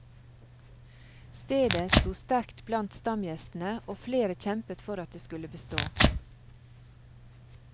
Stedet sto sterkt blant stamgjestene, og flere kjempet for at det skulle bestå.